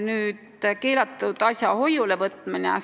Edasi, keelatud asja hoiulevõtmine.